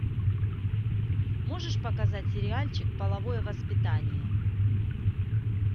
можешь показать сериальчик половое воспитание